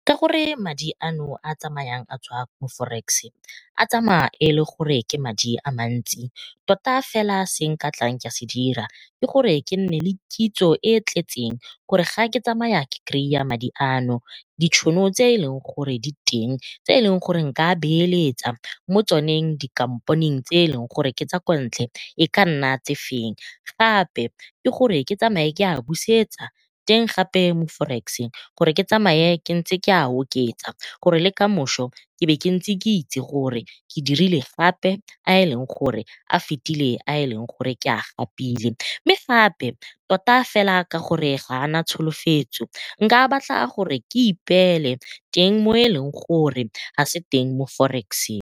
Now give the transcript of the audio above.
Ka gore madi ano a a tsamayang a tswa mo forex a tsamaya e le gore ke madi a mantsi tota fela se nka tlang ka se dira ke gore ke nne le kitso e tletseng gore ga ke tsamaya ke kry-a madi ano, di tšhono tse e leng gore di teng tse e leng gore n ka beeletsa mo tsoneng dikamponeng tse e leng gore ke tsa kontle e ka nna tse feng. Gape le gore ke tsamaye ke a busetsa teng gape mo forex gore ke tsamaye ntse ke a oketsa gore le kamoso e be ke ntse ke itse gore ke dirile gape a e leng gore a fetile a e leng gore ke a gapile, mme gape tota ka gore ga ana tsholofetso ke nka batla gore ke ipeele teng mo e leng gore ga e se teng mo forex-eng.